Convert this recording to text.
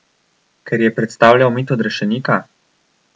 Ker je predstavljal mit odrešenika?